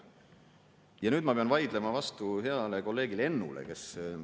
Ja nüüd ma pean vaidlema vastu heale kolleegile Ennule.